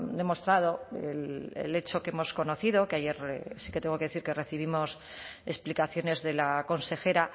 demostrado el hecho que hemos conocido que ayer sí que tengo que decir que recibimos explicaciones de la consejera